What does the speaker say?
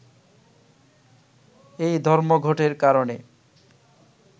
এই ধর্মঘটের কারণে